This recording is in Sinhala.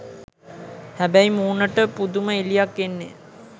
හැබැයි මූණට පුදුම එළියක් එන්නෙ